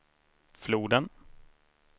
floden